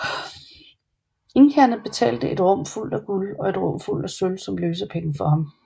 Inkaerne betalte et rum fuldt af guld og et rum fuldt af sølv som løsepenge for ham